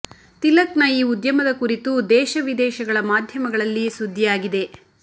ತಿಲಕ್ ನ ಈ ಉದ್ಯಮದ ಕುರಿತು ದೇಶ ವಿದೇಶಗಳ ಮಾಧ್ಯಮಗಳಲ್ಲಿ ಸುದ್ದಿ ಆಗಿದೆ